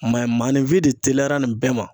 Ma ye, maanifin de teliyara nin bɛɛ ma.